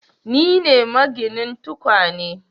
Ni ne, maginin tukwane